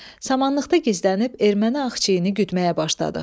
Samanlıqda gizlənib erməni axçeyni güdməyə başladıq.